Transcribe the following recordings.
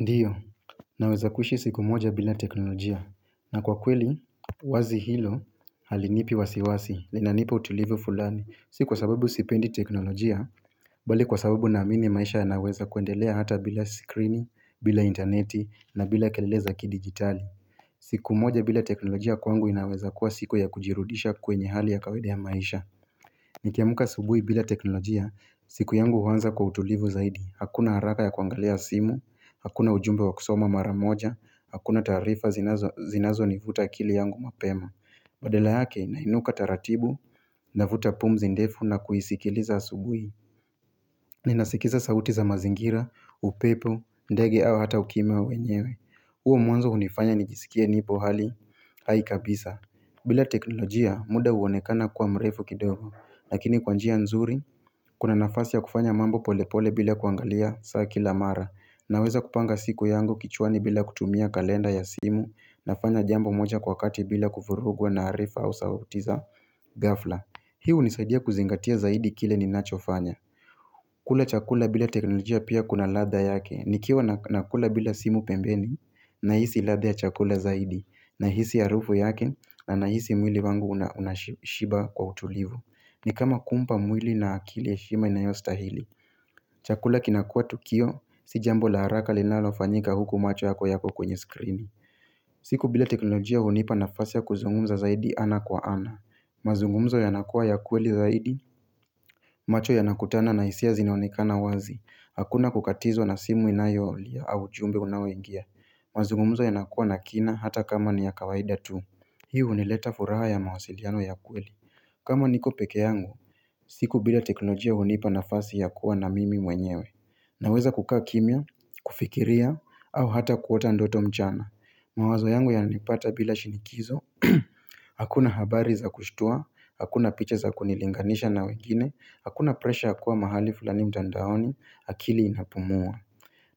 Ndiyo, naweza kuishi siku moja bila teknolojia, na kwa kweli wazi hilo halinipi wasiwasi, linanipa utulivu fulani. Si kwa sababu sipendi teknolojia bali kwa sababu naamini maisha yanaweza kuendelea hata bila screeni, bila interneti, na bila kelele za kidigitali siku moja bila teknolojia kwangu inaweza kuwa siku ya kujirudisha kwenye hali ya kawaida ya maisha Nikiamka asubuhi bila teknolojia, siku yangu huanza kwa utulivu zaidi. Hakuna haraka ya kuangalia simu, hakuna ujumbe wa kusoma mara moja, hakuna taarifa zinazonivuta akili yangu mapema Badala yake nainuka taratibu, navuta pumzi ndefu na kuisikiliza asubuhi Ninasikiza sauti za mazingira, upepo, ndege au hata ukimya wa wenyewe huo mwanzo hunifanya nijisikie nipo hali hai kabisa bila teknolojia, muda huonekana kuwa mrefu kidogo. Lakini kwa njia nzuri kuna nafasi ya kufanya mambo pole pole bila kuangalia saa kila mara. Naweza kupanga siku yangu kichwani bila kutumia kalenda ya simu nafanya jambo moja kwa kati bila kuvurugwa na harifa au sauti za ghafla. Hii hunisaidia kuzingatia zaidi kile ninachofanya kula chakula bila teknolojia pia kuna ladha yake. Nikiwa nakula bila simu pembeni nahisi ladha ya chakula zaidi. Nahisi harufu yake na nahisi mwili wangu unashiba kwa utulivu. Ni kama kumpa mwili na akili heshima inayostahili Chakula kinakuwa tukio, si jambo la haraka linalofanyika huku macho yako yako kwenye skrini siku bila teknolojia hunipa nafasi ya kuzungumza zaidi ana kwa ana mazungumzo yanakuwa ya kweli zaidi macho yanakutana na hisia zinaonekana wazi. Hakuna kukatizwa na simu inayolia au ujumbe unaoingia mazungumzo yanakuwa na kina hata kama ni ya kawaida tu Hii hunileta furaha ya mawasiliano ya kweli kama niko peke yangu siku bila teknolojia hunipa nafasi ya kuwa na mimi mwenyewe Naweza kukaa kimya, kufikiria, au hata kuota ndoto mchana mawazo yangu yananipata bila shinikizo Hakuna habari za kushtua, hakuna picha za kunilinganisha na wengini, hakuna presha ya kuwa mahali fulani mtandaoni, akili inapumua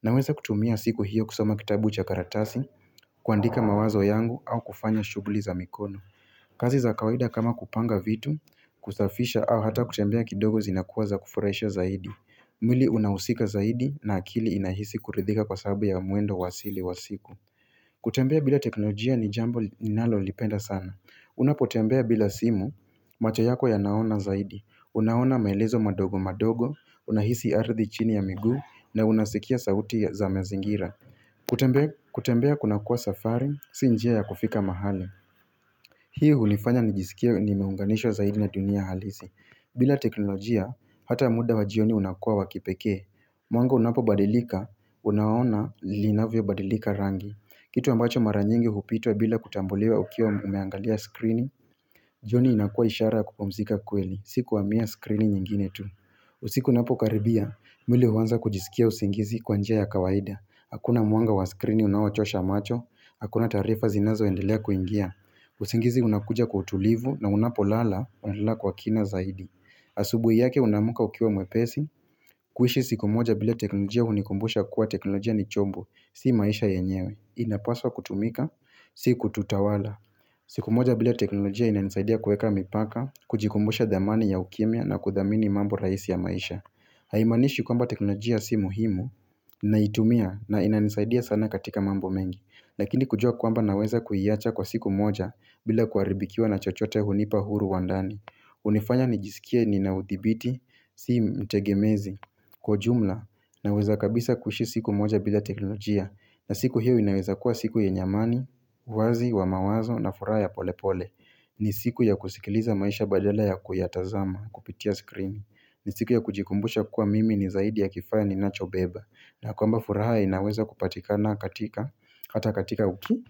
Naweza kutumia siku hiyo kusoma kitabu cha karatasi kuandika mawazo yangu au kufanya shughuli za mikono kazi za kawaida kama kupanga vitu, kusafisha au hata kutembea kidogo zinakuwa za kufurahisha zaidi mwili unahusika zaidi na akili inahisi kuridhika kwa sababu ya mwendo wa asili wa siku kutembea bila teknolojia ni jambo ninalolipenda sana. Unapotembea bila simu macho yako yanaona zaidi. Unaona maelezo madogo madogo, unahisi ardhi chini ya miguu na unasikia sauti za mazingira kutembea kunakuwa safari, si njia ya kufika mahali Hii hulifanya nijisikie nimeunganishwa zaidi na dunia halisi. Bila teknolojia, hata muda wa jioni unakuwa wa kipekee. Mwanga unapobadilika, unaona linavyobadilika rangi. Kitu ambacho mara nyingi hupitwa bila kutambuliwa ukiwa umeangalia skrini, jioni inakuwa ishara ya kupumzika kweli. Siku kuhamia skrini nyingine tu. Usiku unapokaribia, mwili huanza kujisikia usingizi kwa njia ya kawaida. Hakuna mwanga wa skrini unaochosha macho, hakuna taarifa zinazoendelea kuingia usingizi unakuja kwa utulivu na unapolala unalala kwa kina zaidi Asubuhi yake unaamka ukiwa mwepesi kuishi siku moja bila teknolojia hunikumbusha kuwa teknolojia ni chombo, si maisha yenyewe. Inapaswa kutumika si kututawala siku moja bila teknolojia inanisaidia kuweka mipaka. Kujikumbusha thamani ya ukimya na kuthamini mambo rahisi ya maisha Haimaanishi kwamba teknolojia si muhimu naitumia na inanisaidia sana katika mambo mengi. Lakini kujua kwamba naweza kuiwacha kwa siku moja bila kuharibikiwa na chochote hunipa huru wa ndani hunifanya nijisikie nina uthibiti Si mtegemezi. Kwa ujumla naweza kabisa kuishi siku moja bila teknolojia na siku hiyo inaweza kuwa siku yenye amani wazi wa mawazo na furaha ya pole pole ni siku ya kusikiliza maisha badala ya kuyatazama kupitia skrini. Ni siku ya kujikumbusha kuwa mimi ni zaidi ya kifaa ninachobeba na kwamba furaha inaweza kupatikana katika hata katika uki.